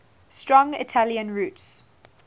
strong italian roots